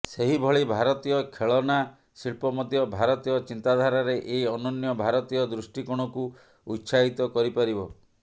ସେହିଭଳି ଭାରତୀୟ ଖେଳନା ଶିଳ୍ପ ମଧ୍ୟ ଭାରତୀୟ ଚିନ୍ତାଧାରାରେ ଏହି ଅନନ୍ୟ ଭାରତୀୟ ଦୃଷ୍ଟିକୋଣକୁ ଉତ୍ସାହିତ କରି ପାରିବ